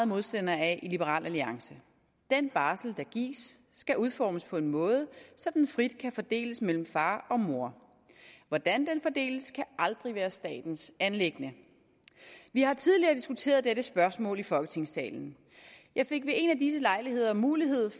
modstandere af i liberal alliance den barsel der gives skal udformes på en måde så den frit kan fordeles mellem far og mor hvordan den fordeles kan aldrig være statens anliggende vi har tidligere diskuteret dette spørgsmål i folketingssalen jeg fik ved en af disse lejligheder mulighed